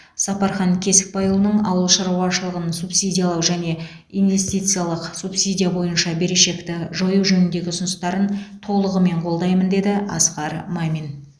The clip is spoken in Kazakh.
сапархан кесікбайұлының ауыл шаруашылығын субсидиялау және инвестициялық субсидия бойынша берешекті жою жөніндегі ұсыныстарын толығымен қолдаймын деді асқар мамин